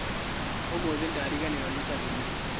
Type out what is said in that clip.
ũmũthĩ ndariganĩrũo nĩ cabi mũciĩ.